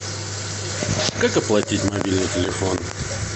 как оплатить мобильный телефон